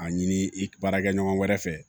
A ɲini i baarakɛ ɲɔgɔn wɛrɛ fɛ